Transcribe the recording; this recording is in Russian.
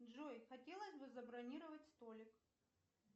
джой хотелось бы забронировать столик